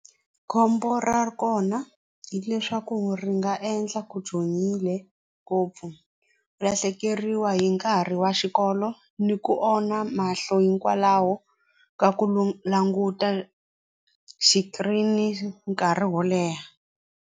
Khombo ra kona hileswaku ri nga endla ku ngopfu ku lahlekeriwa hi nkarhi wa xikolo ni ku onha mahlo hikwalaho ka ku languta xikirini nkarhi wo leha.